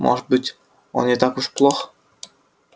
может быть он не так уж плох